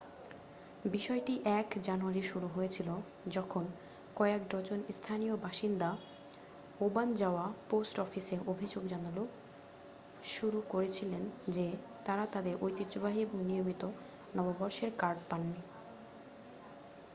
বিষয়টি 1 জানুয়ারি শুরু হয়েছিল যখন কয়েক ডজন স্থানীয় বাসিন্দা ওবানজাওয়া পোস্ট অফিসে অভিযোগ জানানো শুরু করেছিলেন যে তাঁরা তাঁদের ঐতিহ্যবাহী এবং নিয়মিত নববর্ষের কার্ড পাননি